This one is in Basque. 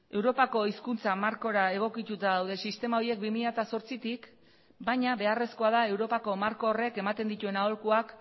europako hizkuntza markora egokituta daude sistema horiek bi mila zortzitik baina beharrezkoa da europako marko horrek ematen dituen aholkuak